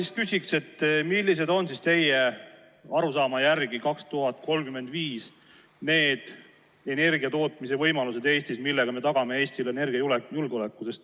Ma küsin, millised on teie arusaama järgi aastal 2035 energiatootmise võimalused Eestis, millega me tagame Eestile energiajulgeoleku.